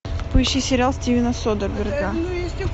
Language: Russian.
поищи сериал стивена содерберга